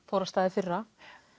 fór af stað í fyrra